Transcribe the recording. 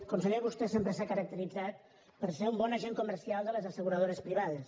conseller vostè sempre s’ha caracteritzat per ser un bon agent comercial de les asseguradores privades